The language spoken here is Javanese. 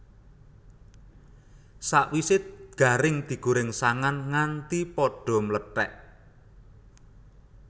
Sakwisé garing digorèng sangan nganti padha mlethèk